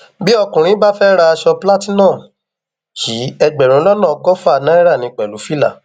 bí ọkùnrin bá fẹẹ ra aṣọ platinum yìí ẹgbẹrún lọnà ọgọfà náírà ní pẹlú fìlà